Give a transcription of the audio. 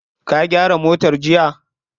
Ka gyara motar jiya?